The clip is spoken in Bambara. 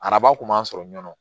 Araba kun b'an sɔrɔ ɲɔ